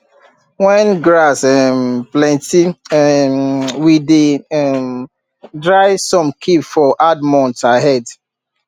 when grass um plenty um we dey um dry some keep for hard months ahead